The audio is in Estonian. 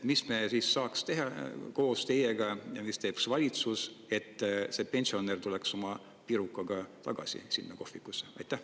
Mis me saaks teha koos teiega ja mida teeb valitsus, et pensionärid saaksid jälle tulla pirukat sööma sinna kohvikusse?